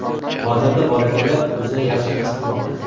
Hozirda bolakaylar o‘zini yaxshi his qilmoqda.